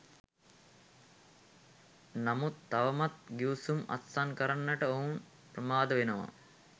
නමුත් තවමත් ගිවිසුම් අත්සන් කරන්නට ඔවුන් ප්‍රමාද වෙනවා.